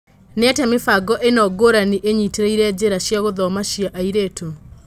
Nĩatĩa mĩbango ĩno ngũrani ĩnyitĩrĩire njĩra cia gũthoma cia airĩtu?